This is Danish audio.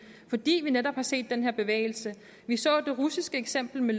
fordi vi netop har set den her bevægelse vi så det russiske eksempel